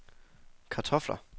kartofler